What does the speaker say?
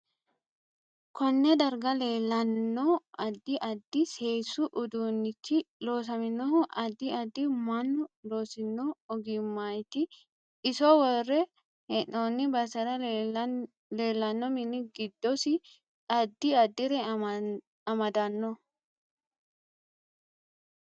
Konne darga leelanno addi addi seesu uduunichi loosaminohu addi addi mannu loosinno ogimaniiti iso worre heenooni basera leelanno mini giddosi addi addire amadanno